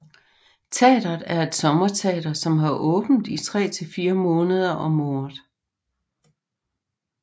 Teateret er et sommerteater som har åbent i tre til fire måneder om året